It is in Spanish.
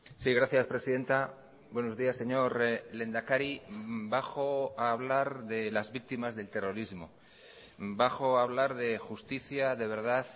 sí gracias presidenta buenos días señor lehendakari bajo a hablar de las víctimas del terrorismo bajo a hablar de justicia de verdad